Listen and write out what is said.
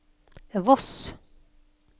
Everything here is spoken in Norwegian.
Voss